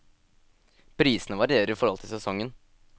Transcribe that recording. Prisene varierer i forhold til sesongen.